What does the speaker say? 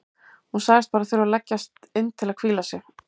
Hún sagðist bara þurfa að leggjast inn til að hvíla sig.